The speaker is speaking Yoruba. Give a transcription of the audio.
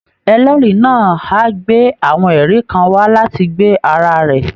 Ẹlẹ́rìí náà á gbé àwọn ẹ̀rí kan wá láti gbe ara rẹ̀